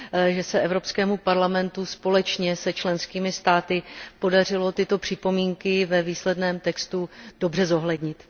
že se Evropskému parlamentu společně s členskými státy podařilo tyto připomínky ve výsledném textu dobře zohlednit.